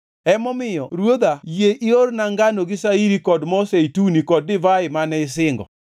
“Emomiyo ruodha yie iorna ngano gi shairi kod mo zeituni kod divai mane isingo.